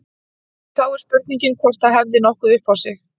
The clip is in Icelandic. En þá er spurningin hvort það hefði nokkuð upp á sig.